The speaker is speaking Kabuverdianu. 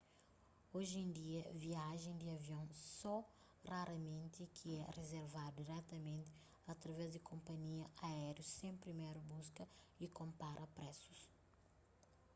oji en dia viajen di avion só raramenti ki é rizervadu diretamenti através di konpanhia aériu sen priméru buska y konpara presus